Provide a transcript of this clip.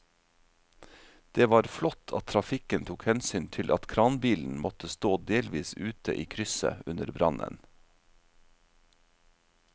Det var flott at trafikken tok hensyn til at kranbilen måtte stå delvis ute i krysset under brannen.